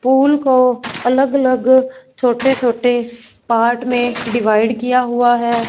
पुल को अलग अलग छोटे छोटे पार्ट में डिवाइड किया हुआ हैं।